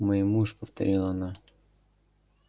мой муж повторила она